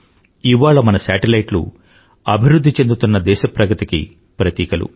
ఇవాళ మన శాటిలైట్లు అభివృధ్ధి చెందుతున్న దేశ ప్రగతికి ప్రతీకలు